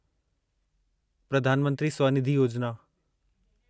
Pradhan Mantri Svanidhi Yojana